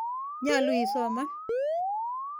Nyalu isoman.